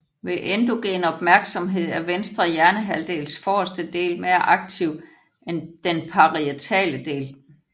Ved endogen opmærksomhed er venstre hjernehalvdels forreste del mere aktiv end den parietale del